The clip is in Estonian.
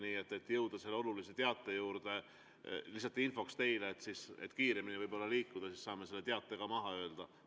Nii et jõuda selle olulise teate juurde, lihtsalt infoks teile, et kui kiiremini liigume, siis saame selle teate ka maha öelda.